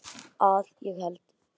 Að ég held.